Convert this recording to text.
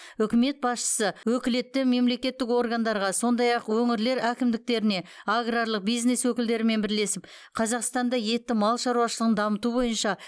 үкімет басшысы өкілетті мемлекеттік органдарға сондай ақ өңірлер әкімдіктеріне аграрлық бизнес өкілдерімен бірлесіп қазақстанда етті мал шаруашылығын дамыту бойынша